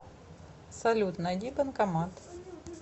салют найди банкомат